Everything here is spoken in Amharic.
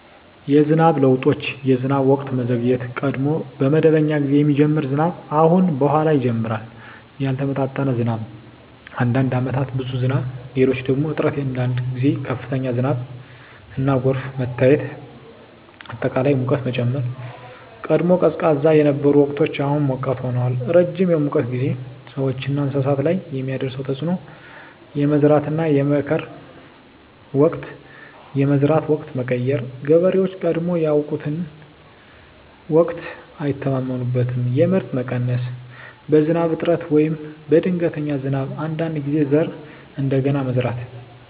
የዝናብ ለውጦች የዝናብ ወቅት መዘግየት – ቀድሞ በመደበኛ ጊዜ የሚጀምር ዝናብ አሁን በኋላ ይጀምራል ያልተመጣጠነ ዝናብ – አንዳንድ ዓመታት ብዙ ዝናብ፣ ሌሎች ደግሞ እጥረት አንዳንድ ጊዜ ከፍተኛ ዝናብና ጎርፍ መታየት አጠቃላይ ሙቀት መጨመር – ቀድሞ ቀዝቃዛ የነበሩ ወቅቶች አሁን ሞቃት ሆነዋል ረጅም የሙቀት ጊዜ – ሰዎችና እንስሳት ላይ የሚያደርስ ተፅዕኖ የመዝራትና የመከር ወቅት የመዝራት ወቅት መቀየር – ገበሬዎች ቀድሞ ያውቁትን ወቅት አይተማመኑበትም የምርት መቀነስ – በዝናብ እጥረት ወይም በድንገተኛ ዝናብ አንዳንድ ጊዜ ዘር እንደገና መዝራት